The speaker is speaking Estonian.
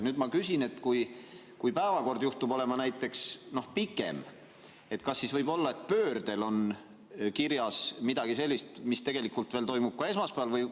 Nüüd ma küsin, et kui päevakord juhtub olema näiteks pikem, kas siis võib olla pöördel kirjas midagi sellist, mis tegelikult toimub esmaspäeval.